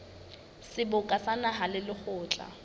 seboka sa naha le lekgotla